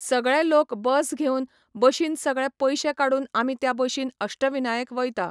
सगळे लोक बस घेवन, बशीन सगळे पयशे काडून आमी त्या बशीन अष्टविनायक वयता.